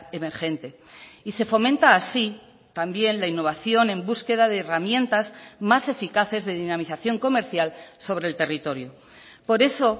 emergente y se fomenta así también la innovación en búsqueda de herramientas más eficaces de dinamización comercial sobre el territorio por eso